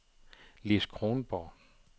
Lis Kronborg